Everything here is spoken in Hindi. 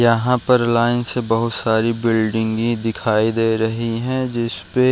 यहाँ पर लाइन से बहुत सारी बिल्डिंगे दिखाई दे रही है जिसपे --